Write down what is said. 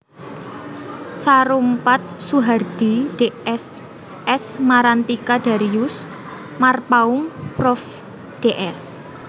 Saroempaet Soehardhi Ds S Marantika Darius Marpaung Prof Ds